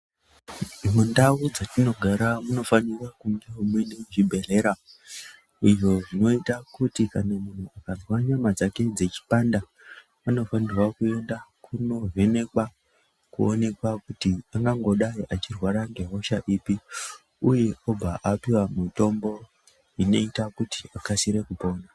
Mundau dzetinogara munofanira kunge mune chibhledhlera izvo zvinoite kuti kana muntu akazwa nyama dzake dzechipanda anofanirwa kuenda kundovhenekwa kuonekwa kuti angangodai echirwara ngehosha ipi uye obva apiwa mitombo inoite kuti akasire kupora.